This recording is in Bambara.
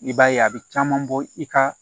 I b'a ye a bɛ caman bɔ i ka